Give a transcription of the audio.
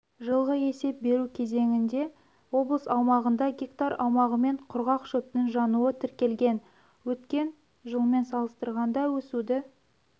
жылғы есеп беру кезеңінде облыс аумағында гектар аумағымен құрғақ шөптің жануы тіркелген өткен жылмен салыстырғанда өсуді